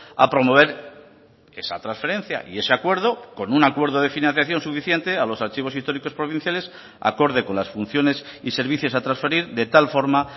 a promover esa transferencia y ese acuerdo con un acuerdo de financiación suficiente a los archivos históricos provinciales acorde con las funciones y servicios a transferir de tal forma